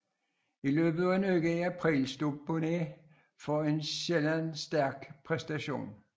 I løbet af en uge i april stod Boonen for en sjælden stærk præstation